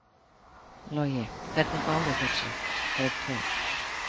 Logi: Hvernig báru þeir sig, þeir tveir?